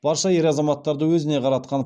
барша ер азаматтарды өзіне қаратқан